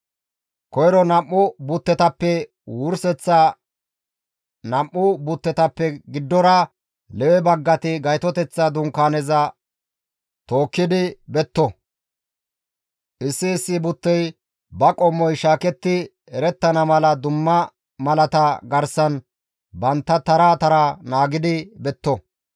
Koyro nam7u buttetappenne wurseththa nam7u buttetappe giddon Lewe baggati Gaytoteththa Dunkaaneza tookkidi betto; issi issi buttey ba qommoy shaaketti erettana mala dumma malata garsan bantta tara tara naagidi betto.